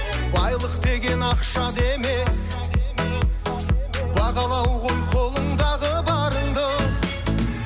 байлық деген ақша да емес бағалау ғой қолыңдағы барыңды